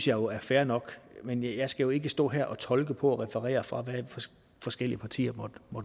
jo er fair nok men jeg skal jo ikke stå her og fortolke og referere fra hvad forskellige partier måtte